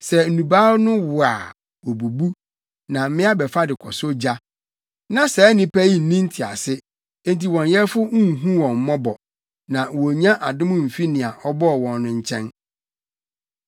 Sɛ nnubaa no wo a, wobubu na mmea bɛfa de kɔsɔ ogya. Na saa nnipa yi nni ntease enti wɔn yɛfo nhu wɔn mmɔbɔ, na wonnya adom mfi nea ɔbɔɔ wɔn no nkyɛn.